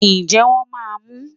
njẹ wón ma mú